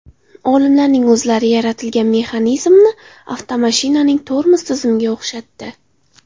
Olimlarning o‘zlari yaratilgan mexanizmni avtomashinaning tormoz tizimiga o‘xshatdi.